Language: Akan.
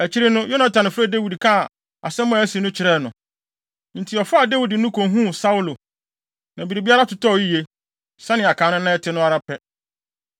Akyiri no, Yonatan frɛɛ Dawid kaa asɛm a asi no kyerɛɛ no. Enti ɔfaa Dawid de no kohuu Saulo, na biribiara totɔɔ yiye, sɛnea kan no na ɛte no ara pɛ.